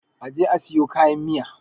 a je a siyo kayan Miya!